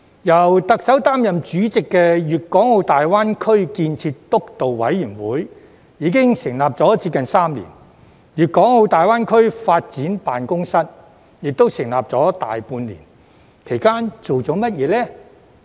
由特首擔任主席的粵港澳大灣區建設督導委員會已成立接近3年，粵港澳大灣區發展辦公室亦成立大半年，其間做了甚麼呢？